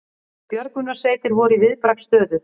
Björgunarsveitir voru í viðbragðsstöðu